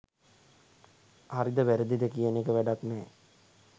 හරිද වැරදිද කියන එක වැඩක් නෑ.